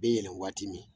Bɛ yɛlɛn waati min